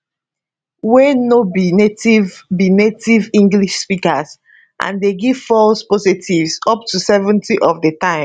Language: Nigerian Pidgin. wey no be native be native english speakers and dey give false positives up to 70 of di time